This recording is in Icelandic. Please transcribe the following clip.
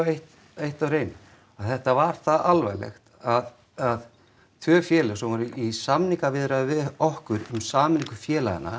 eitt eitt á hreinu að þetta var það alvarlegt að að tvö félög sem voru í samningaviðræðum við okkur um sameiningu félaganna